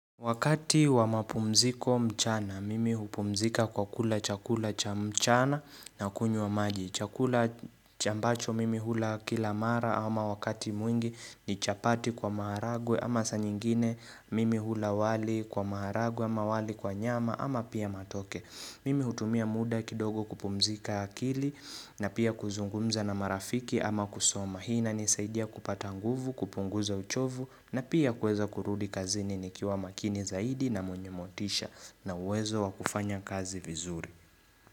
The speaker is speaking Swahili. Wakati wa mapumziko mchana, mimi hupumzika kwa kula chakula cha mchana na kunywa maji. Chakula chambacho mimi hula kila mara ama wakati mwingi ni chapati kwa maharagwe ama saa nyingine mimi hula wali kwa maharagwe ama wali kwa nyama ama pia matoke. Mimi hutumia muda kidogo kupumzika akili na pia kuzungumza na marafiki ama kusoma. Mahina inanisaidia kupata nguvu, kupunguza uchovu na pia kuweza kurudi kazini nikiwa makini zaidi na mwenye motisha na uwezo wa kufanya kazi vizuri.